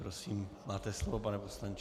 Prosím, máte slovo, pane poslanče.